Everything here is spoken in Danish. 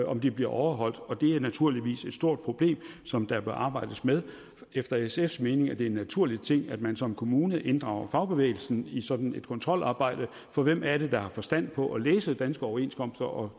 om de bliver overholdt og det er naturligvis et stort problem som der bør arbejdes med efter sfs mening er det en naturlig ting at man som kommune inddrager fagbevægelsen i sådan et kontrolarbejde for hvem er det der har forstand på at læse danske overenskomster og